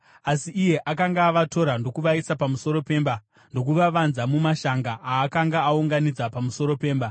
(Asi iye akanga avatora ndokuvaisa pamusoro pemba ndokuvavanza mumashanga aakanga aunganidza pamusoro pemba.)